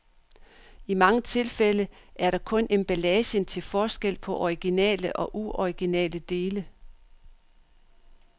I mange tilfælde er der kun emballagen til forskel på originale og uoriginale dele.